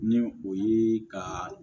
Ni o ye ka